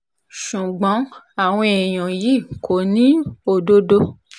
ṣùgbọ́n àwọn èèyàn yìí kò ní òdodo